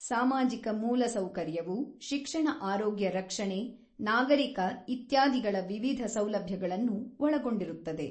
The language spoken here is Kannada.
ಸಾಮಾಜಿಕ ಮೂಲಸೌಕರ್ಯವು ಶಿಕ್ಷಣ ಆರೋಗ್ಯ ರಕ್ಷಣೆ ನಾಗರಿಕ ಇತ್ಯಾದಿಗಳ ವಿವಿಧ ಸೌಲಭ್ಯಗಳನ್ನು ಒಳಗೊಂಡಿರುತ್ತದೆ.